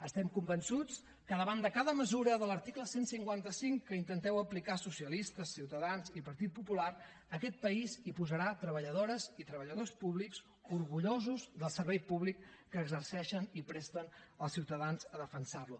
estem convençuts que davant de cada mesura de l’article cent i cinquanta cinc que intenteu aplicar socialistes ciutadans i partit popular aquest país hi posarà treballadores i treballadors públics orgullosos del servei públic que exerceixen i presten als ciutadans a defensar lo